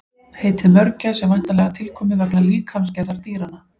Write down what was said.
Heitið mörgæs er væntanlega tilkomið vegna líkamsgerðar dýranna.